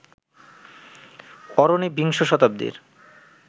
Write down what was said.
অরণি বিংশ শতাব্দীর